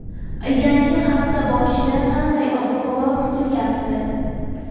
Yangi hafta boshida qanday ob-havo kutilyapti?.